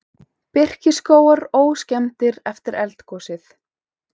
Birkiskógar óskemmdir eftir eldgosið